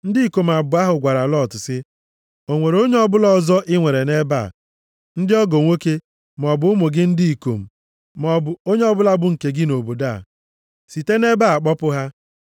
Ndị ikom abụọ ahụ gwara Lọt sị, “O nwere onye ọbụla ọzọ i nwere nʼebe a? Ndị ọgọ nwoke, maọbụ ụmụ gị ndị ikom, maọbụ ụmụ gị ndị inyom, na ọ bụ onye ọbụla bụ nke gị nʼobodo a. Site nʼebe a kpọpụ ha!